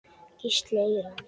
Gísli Eyland.